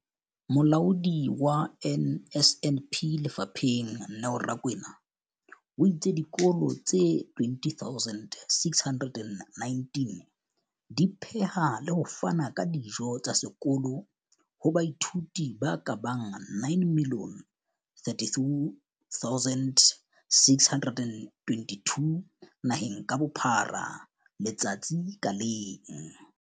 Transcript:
Molaodi wa NSNP lefapheng, Neo Rakwena, o itse dikolo tse 20 619 di pheha le ho fana ka dijo tsa sekolo ho baithuti ba ka bang 9 032 622 naheng ka bophara letsatsi ka leng.